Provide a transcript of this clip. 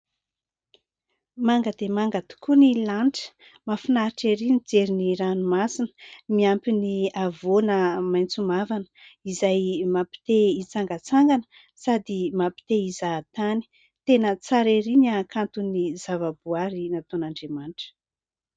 Manga dia manga tokoa ny lanitra. Mahafinaritra ery mijery ny ranomasina miampy ny havoana maitso mavana izay mampite hitsangatsangana, sady mampite hizahatany. Tena tsara ery ny hakanton'ny zava-boaary nataon'Andriamanitra.